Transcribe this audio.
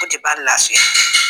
O de b'an lafiya